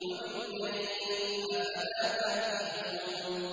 وَبِاللَّيْلِ ۗ أَفَلَا تَعْقِلُونَ